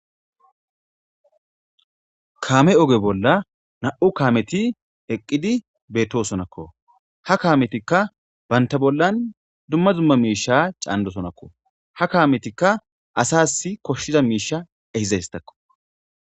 Kaame oge bolla nam'u kaameti eqqidi beetosonako. Ha kaametika banta bollan dumma dumma miisha caanidosonako. Ha kaametika asasi koshshiza miiasha ehizaysatako.